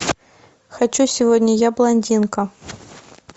хочу сегодня я блондинка